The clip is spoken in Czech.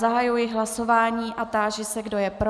Zahajuji hlasování a táži se, kdo je pro.